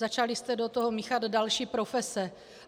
Začali jste do toho míchat další profese.